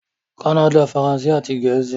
Kánnádà - Faransé àti Gẹ̀ẹ́sì